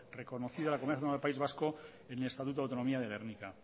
reconocida a la comunidad autónoma del país vasco en el estatuto de autonomía de gernika